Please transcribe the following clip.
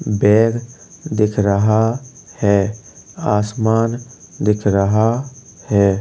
Bag दिख रहा है आसमान दिख रहा है।